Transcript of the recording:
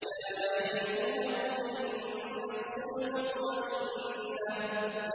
يَا أَيَّتُهَا النَّفْسُ الْمُطْمَئِنَّةُ